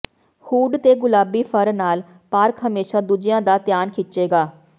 hood ਤੇ ਗੁਲਾਬੀ fur ਨਾਲ ਪਾਰਕ ਹਮੇਸ਼ਾ ਦੂਜਿਆਂ ਦਾ ਧਿਆਨ ਖਿੱਚੇਗਾ